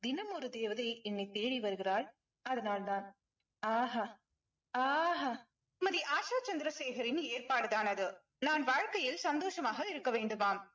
தினம் ஒரு தேவதை என்னை தேடி வருகிறாள் அதனால்தான் ஆஹா ஆஹா திருமதி ஆஷா சந்திரசேகரின் ஏற்பாடு தான் அது. நான் வாழ்க்கையில் சந்தோஷமாக இருக்க வேண்டுமாம்.